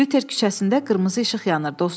Lüter küçəsində qırmızı işıq yanır, dostum.